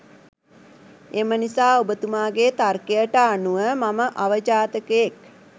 එමනිසා ඔබතුමාගේ තර්කයට අනුව මම අවජාතකයෙක්